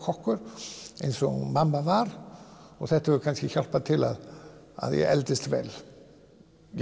meistarakokkur eins og mamma var og þetta hefur kannski hjálpað til við að ég eldist vel